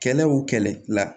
Kɛlɛ o kɛlɛ la